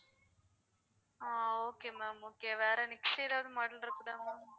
ஆஹ் okay ma'am okay வேற next எதாவது model இருக்குதா ma'am